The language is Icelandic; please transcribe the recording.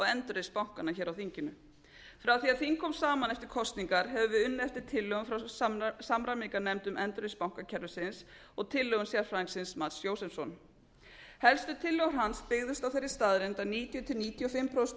endurreisn bankanna á þinginu frá því að þing kom saman eftir kosningar hefur verið unnið eftir tillögum frá samræmingarnefndum um endurreisn bankakerfisins og tillögum sérfræðingsins mats josefsson helstu tillögur hans byggðust á þeirri staðreynd að níutíu til níutíu og fimm prósent af